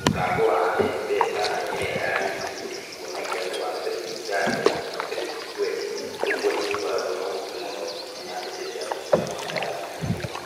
mũtambo wa M-pesa kana ĩrĩa ya Equity nĩcikuonagia waruta ciringi thate, waruta ciringi twendi. Ũguo nĩgũkoragwo na ũhũthũ mũno kũmenya mbeca ciaku cirahũthĩka na njĩra ĩrĩkũ.